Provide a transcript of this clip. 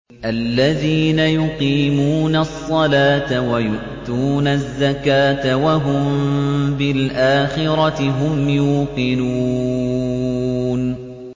الَّذِينَ يُقِيمُونَ الصَّلَاةَ وَيُؤْتُونَ الزَّكَاةَ وَهُم بِالْآخِرَةِ هُمْ يُوقِنُونَ